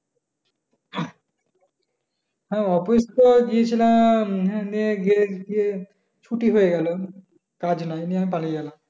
হ্যাঁ office তো গিয়েছিলাম আহ ছুটি হয়ে গেল কাজ নাই পালিয়ে এলাম